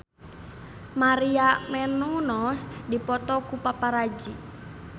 Maria Menounos dipoto ku paparazi